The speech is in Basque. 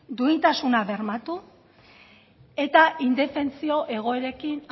duintasuna bermatu eta indefentsio egoerekin